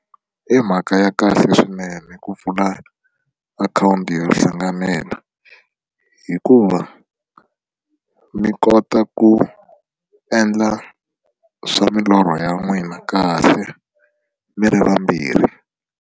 I mhaka ya kahle swinene ku pfula akhawunti yo hlanganela hikuva mi kota ku endla swa milorho ya n'wina kahle mi ri vambirhi.